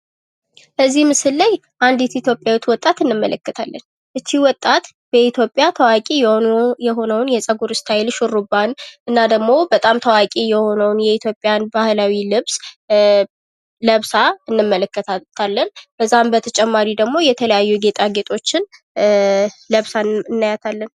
በዚህ ምስል ላይ አንድት ኢትዮጵያዊት ወጣት እንመለከታለን። ይች ወጣት በኢትዮጵያ ታዋቂ የሆነውን ሹርባ እና ደግሞ በጣም ታዋቂ የሆነውን የኢትዮጵያን ባህላዊ ልብስ ለብሳ እንመለከታለን። ከዛም በተጨማሪ ደግሞ የተለያየ ጌጣጌጦችን ለብሳ እናያታለን።